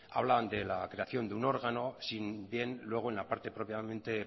hablan de la creación de un órgano si bien luego en la parte propiamente